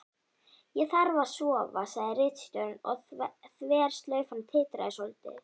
Ég þarf að sofa, sagði ritstjórinn og þverslaufan titraði svolítið.